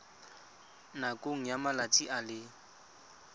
nakong ya malatsi a le